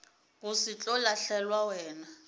go se tlo lahlelwa wena